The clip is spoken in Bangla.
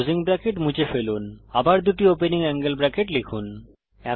ক্লোসিং ব্রেকেট মুছে ফেলুন আবার দুটি ওপেনিং অ্যাঙ্গেল ব্রেকেট লিখুন